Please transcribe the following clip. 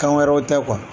Kan wɛrɛw tɛ